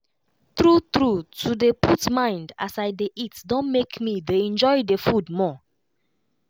true true to dey put mind as i dey eat don make me dey enjoy the food more.